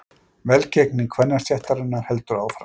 Velgengni kvennasveitarinnar heldur áfram